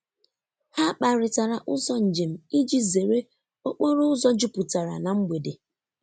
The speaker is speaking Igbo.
Ha kparịtara ụzọ njem iji zere okporo ụzọ jupụtara na mgbede.